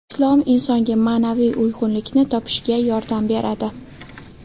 Islom insonga ma’naviy uyg‘unlikni topishiga yordam beradi.